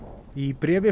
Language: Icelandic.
í bréfi